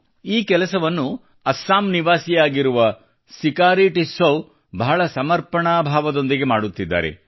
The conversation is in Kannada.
ಈ ಕೆಲಸವನ್ನು ಅಸ್ಸಾಂ ನಿವಾಸಿಯಾಗಿರುವ ಸಿಕಾರಿ ಟಿಸ್ಸೌ ಬಹಳ ಸಮರ್ಪಣಾ ಭಾವದೊಂದಿಗೆ ಮಾಡುತ್ತಿದ್ದಾರೆ